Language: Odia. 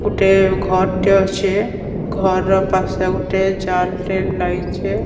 ଗୋଟେ ଘରଟେ ଅଛେ ଘର ପାଖକୁ ଜାଲ୍ ଲାଗିଛେ।